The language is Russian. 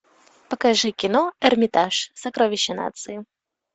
покажи кино эрмитаж сокровища нации